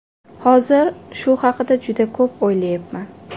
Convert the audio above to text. Hozir shu haqda juda ko‘p o‘ylayapman.